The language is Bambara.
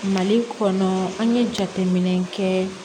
Mali kɔnɔ an ye jateminɛ kɛ